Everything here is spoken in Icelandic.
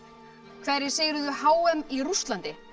hverjir sigruðu h m í Rússlandi